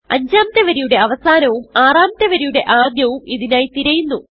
അഞ്ചാമത്തെ വരിയുടെ അവസാനവും ആറാമത്തെ വരിയുടെ ആദ്യവും ഇതിനായി തിരയുന്നു